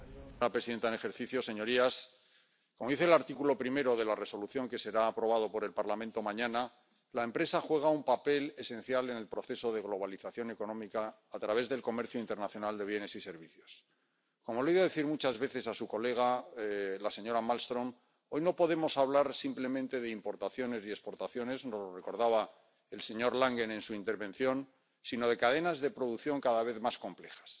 Señor presidente, señor comisario, señora presidenta en ejercicio, señorías, como dice el artículo primero de la Resolución que será aprobada por el Parlamento mañana, la empresa juega un papel esencial en el proceso de globalización económica a través del comercio internacional de bienes y servicios. Como le he oído decir muchas veces a su colega, la señora Malmström, hoy no podemos hablar simplemente de importaciones y exportaciones ―y nos lo recordaba el señor Langen en su intervención― sino de cadenas de producción cada vez más complejas.